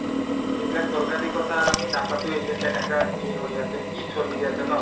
এইবিলাক দৰকাৰী কথা আমি নাপাতোয়ে যে কেনেকুৱা কি হৈ আছে কি চলি আছে ন